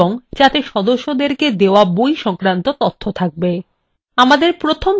আমাদের প্রথম ধাপ হলো প্রয়োজনীয় তথ্য খুঁজে সংগঠিত করা